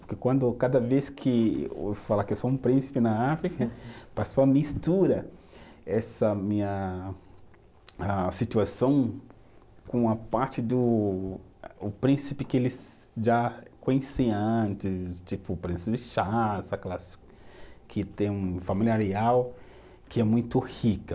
Porque quando, cada vez que eu falar que eu sou um príncipe na África, pessoal mistura essa minha, a situação com a parte do, o príncipe que eles já conheciam antes, tipo, o príncipe Charles, aquelas que tem uma família real que é muito rica.